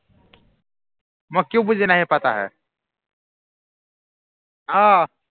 মই किय़ौ বুজি नहीं पता है অ